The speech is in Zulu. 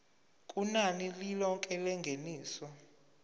kunani lilonke lengeniso